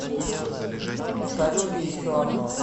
салют и еще одно